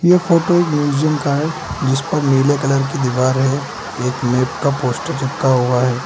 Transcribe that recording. ये फोटो एक म्यूजियम का है जिस पर नीले कलर की दीवार है एक मैप का पोस्टर चिपका हुआ है।